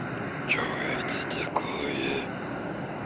что это такое